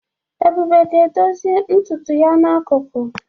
Ebube ga-edozi ntutu ya n'akụkụ.